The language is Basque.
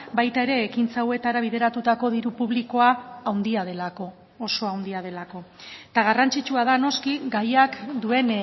baita ere ekintza hauetara bideratutako diru publikoa handia delako oso handia delako eta garrantzitsua da noski gaiak duen